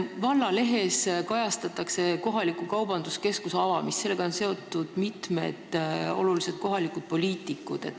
Vallalehes kajastatakse kohaliku kaubanduskeskuse avamist, sellega on seotud mitmed kohalikud poliitikud.